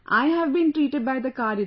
I have been treated by the card itself